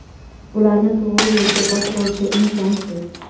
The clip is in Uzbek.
ularni to‘g‘ri yo‘lga boshlovchi insonsiz.